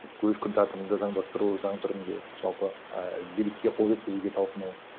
өз күн тәртібіңді заңдастыру заң түрінде жалпы і билікке қол жеткізуге талпыну